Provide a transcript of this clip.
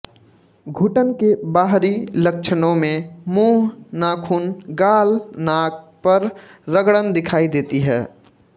घुटन के बाहरी लक्षणों में मुंह नाख़ून गाल नाक पर रगड़न दिखाई देती है